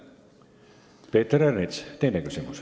Peeter Ernits, teine küsimus.